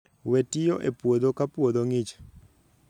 we tiyo e puodho ka puodhi ngich.